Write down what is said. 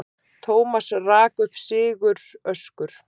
Thomas rak upp siguröskur.